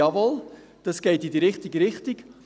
«Jawohl, das geht in die richtige Richtung.